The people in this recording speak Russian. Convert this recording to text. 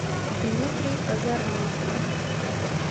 дмитрий озорнов